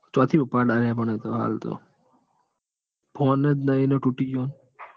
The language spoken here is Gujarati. ચોહો ઉપડે એતો હાલ તો? phone જ નહિ ન તૂટી ગયોન. ત્યો એવું.